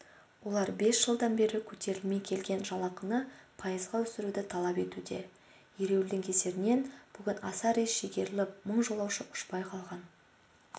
олар бес жылдан бері көтерілмей келген жалақыны пайызға өсіруді талап етуде ереуілдің кесірінен бүгін аса рейс шегеріліп мың жолаушы ұшпай қалған